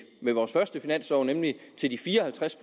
vores første finanslov nemlig de fire og halvtreds